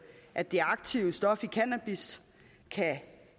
at det aktive stof i cannabis